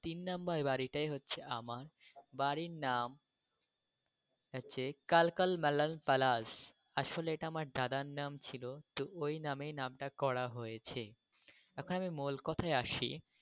তিন নম্বর বাড়িটাই হচ্ছে আমার। বাড়ির নাম হচ্ছে কালকাল বালাং প্যালেস। আসলে এটা আমার দাদার নাম ছিল তো ওই নামেই নামটা করা হয়েছে। এখন আমি মূল কথায় আসি।